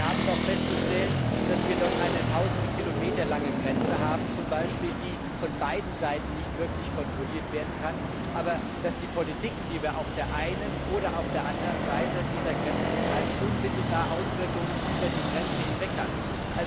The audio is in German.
Denn wir haben doch festzustellen, dass wir z. B. dort eine Tausende Kilometer lange Grenze haben, die von beiden Seiten nicht wirklich kontrolliert werden kann, aber dass die Politiken, die wir auf der einen oder auf der anderen Seite dieser Grenze betreiben, unmittelbar Auswirkungen über die Grenze hinweg haben.